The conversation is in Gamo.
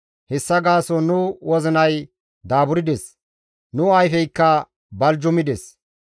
Hessa gaason nu wozinay daaburdes; nu ayfeykka baljumides.